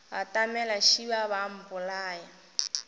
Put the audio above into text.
batamela šeba ba a mpolaya